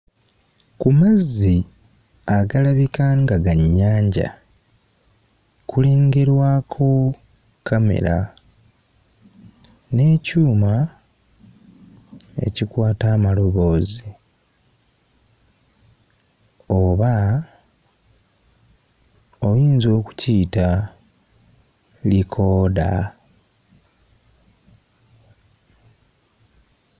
Ku mazzi agalabika nga ga nnyanja kulengerwako kkamera n'ekyuma ekikwata amaloboozi oba oyinza okukiyita likooda.